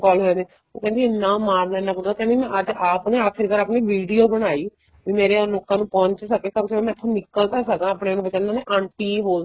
ਕੋਣ ਕਹਿੰਦੇ ਉਹ ਕਹਿੰਦੀ ਐਨਾ ਮਾਰਦਾ ਏ ਇੰਨਾ ਕੁੱਟਦਾ ਏ ਕਹਿੰਦੀ ਅੱਜ ਆਪ ਨਾ ਆਖਿਰ ਕਾਰ ਆਪਣੀ video ਬਣਾਈ ਵੀ ਮੇਰਿਆ ਲੋਕਾਂ ਨੂੰ ਪਹੁੰਚ ਸਕੇ ਕਮ ਸੇ ਕਮ ਮੈਂ ਇੱਥੋ ਨਿੱਕਲ ਤਾਂ ਸਕਾ ਆਪਣੇ ਉਹ ਕਹਿੰਦੇ ਹੁੰਦੇ ਏ ਆਂਟੀ ਹੋ